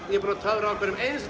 ég er búin að töfra á hverjum